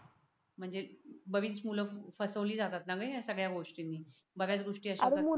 म्हणजे बरीच मूल फसवली जातात ना रे सगळ्या गोष्टींनी बऱ्याच गोष्ट असतात